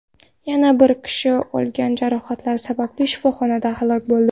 Yana bir kishi olgan jarohatlari sababli shifoxonada halok bo‘ldi.